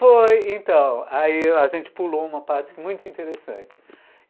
Foi, então, aí a gente pulou uma parte muito interessante.